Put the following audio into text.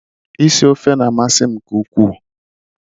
Isi ofe na amasi m nke ukwu